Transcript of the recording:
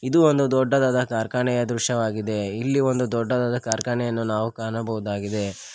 ಇದು ಒಂದು ದೊಡ್ಡದಾದ ಕಾರ್ಖಾನೆಯ ದೃಶ್ಯವಾಗಿದೆ ಇಲ್ಲಿ ಒಂದು ದೊಡ್ಡದಾದ ಕಾರ್ಖಾನೆಯನ್ನು ನಾವು ಕಾಣಬಹುದಾಗಿದೆ.